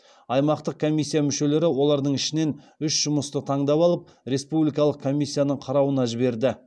аймақтық комиссия мүшелері олардың ішінен үш жұмысты таңдап алып республикалық комиссияның қарауына жіберді